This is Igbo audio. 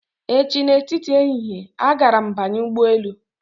Echi na etiti ehihie, agara m banye ụgbọ elu